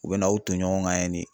U be n'aw ton ɲɔgɔn kan yen ne